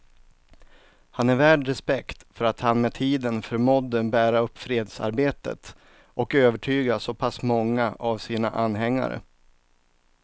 Han är värd respekt för att han med tiden förmådde bära upp fredsarbetet och övertyga så pass många av sina anhängare.